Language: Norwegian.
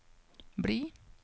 bli